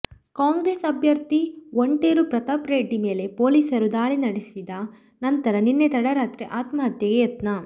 ಕಾಂಗ್ರೆಸ್ ಅಭ್ಯರ್ಥಿ ವಂಟೇರು ಪ್ರತಾಪ್ ರೆಡ್ಡಿ ಮೇಲೆ ಪೊಲೀಸರು ದಾಳಿ ನಡೆಸಿದ ನಂತರ ನಿನ್ನೆ ತಡರಾತ್ರಿ ಆತ್ಮಹತ್ಯೆಗೆ ಯತ್ನ